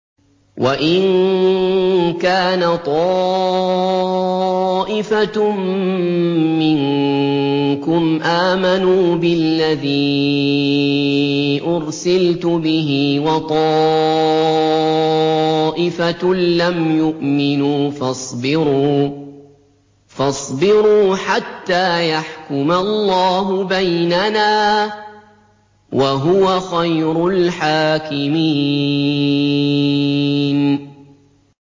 وَإِن كَانَ طَائِفَةٌ مِّنكُمْ آمَنُوا بِالَّذِي أُرْسِلْتُ بِهِ وَطَائِفَةٌ لَّمْ يُؤْمِنُوا فَاصْبِرُوا حَتَّىٰ يَحْكُمَ اللَّهُ بَيْنَنَا ۚ وَهُوَ خَيْرُ الْحَاكِمِينَ